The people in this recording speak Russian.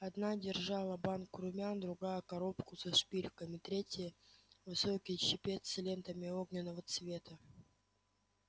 одна держала банку румян другая коробку со шпильками третья высокий чепец с лентами огненного цвета